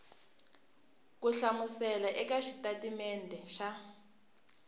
ku hlamusela eka xitatimede xa